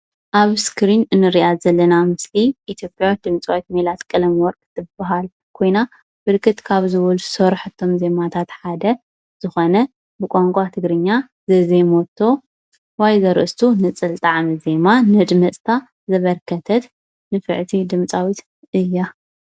ኣብ እስክሪን እንሪኣ ዘለና ምስሊ ኢትዮጵያዊት ድምፃዊት ሚናስ ቀለመወርቅ ትበሃል ኮይና ብርክት ካብ ዝበሉ ዝሰረሐቶም ዜማታት ሓደ ዝኾነ ብቛንቋ ትግርኛ ዘዜመቶ ማይ ዘርእስቱ ንፅል ጣዕመ ዜማ ነድመፅታ ዘበርከተት ንፍዕቲ ድምፃዊት እያ።